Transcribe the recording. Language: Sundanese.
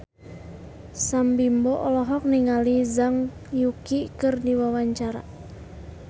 Sam Bimbo olohok ningali Zhang Yuqi keur diwawancara